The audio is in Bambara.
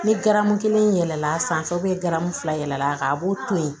Ni garamu kelen yɛlɛla sanfɛ fila yɛlɛl'a kan a b'o to yen